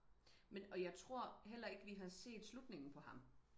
men og jeg tror heller ikke vi har set slutningen på ham